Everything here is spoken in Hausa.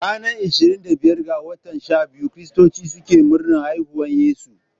Ranar ishirin da biyar ga watan shabiyu, kiristoci suke murnar haihuwan yesu.